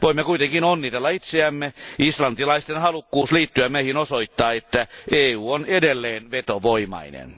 Voimme kuitenkin onnitella itseämme islantilaisten halukkuus liittyä meihin osoittaa, että EU on edelleen vetovoimainen.